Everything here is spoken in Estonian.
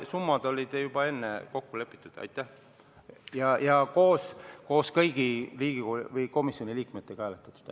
Summad oli juba enne kokku lepitud ja koos kõigi komisjoni liikmetega hääletatud.